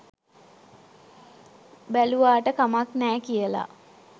බැලුවාට කමක් නෑ කියලා